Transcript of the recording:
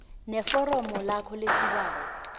neforomo lakho lesibawo